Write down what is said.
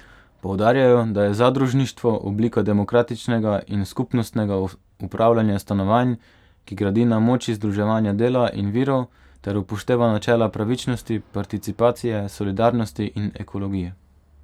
Poudarjajo, da je zadružništvo oblika demokratičnega in skupnostnega upravljanja stanovanj, ki gradi na moči združevanja dela in virov ter upošteva načela pravičnosti, participacije, solidarnosti in ekologije.